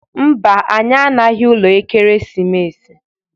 Mba, anyị anaghị ụlọ Ekeresimesi.